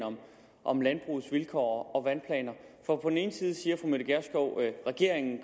om landbrugets vilkår og vandplaner for på den ene side siger fru mette gjerskov at regeringen